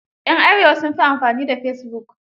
yan Arewa sun fi amfani da fesibuk.